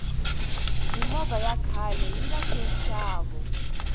mimovha ya khaleyi lahlenxavo